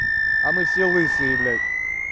а мы все лысые блядь